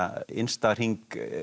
innsta hring